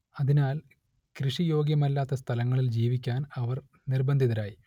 അതിനാൽ കൃഷി യോഗ്യമല്ലാത്ത സ്ഥലങ്ങളിൽ ജീവിക്കാൻ അവർ നിർബന്ധിതരായി